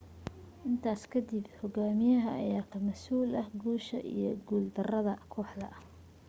intaas kadib hogaamiyaha ayaa ka masuul ah guusha iyo guul darada kooxda